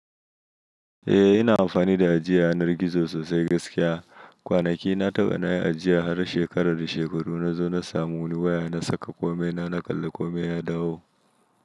Eh ina amfani da ajiye yanar gizo sosai gaskiya. Kwanaki na taɓa na yi ajiya har shekarar da shekaru na zo na samu wani waya na saka komai na, na kalli komai ya dawo.